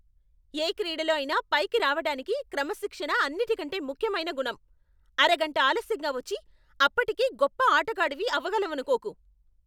ఏ క్రీడలో అయినా పైకి రావటానికి క్రమశిక్షణ అన్నిటికంటే ముఖ్యమైన గుణం. అరగంట ఆలస్యంగా వచ్చి, అప్పటికీ గొప్ప ఆటగాడివి అవగలవనుకోకు.